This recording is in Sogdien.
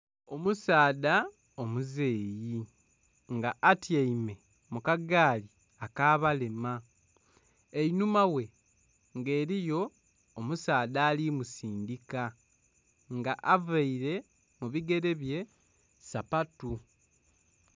Omusaadha omuzeeyi nga atyaime mu kagaali akabalema, einhuma ghe nga eriyo omusaadha ali musindhika nga avaire mu bigerebye sapatu.